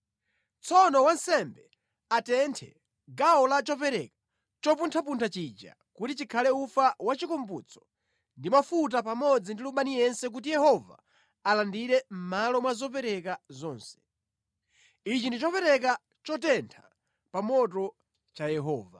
Tsono wansembe atenthe gawo la chopereka chopunthapuntha chija kuti chikhala ufa wachikumbutso ndi cha mafuta pamodzi ndi lubani yense kuti Yehova alandire mʼmalo mwa zopereka zonse. Ichi ndi chopereka chotentha pa moto cha Yehova.